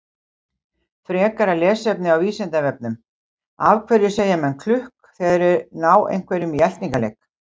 Frekara lesefni á Vísindavefnum: Af hverju segja menn klukk þegar þeir ná einhverjum í eltingaleik?